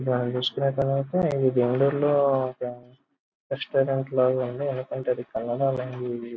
ఇది బెంగళూరులో ఉన్న రెస్టారంట్ లాగ ఉంది ఎందుకంటే --